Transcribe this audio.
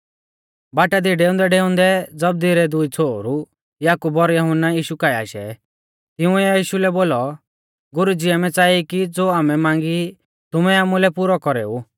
बाटा दी डेउंदैडेउंदै जबदी रै दुई छ़ोहरु याकूब और यहुन्ना यीशु काऐ आशै तिंउऐ यीशु लै बोलौ गुरुजी आमै च़ाई कि ज़ो आमै मांगी ई तुमै आमुलै पुरौ कौरेऊ